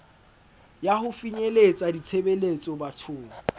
ya ho finyeletsa ditshebeletso bathong